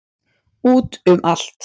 Út um allt.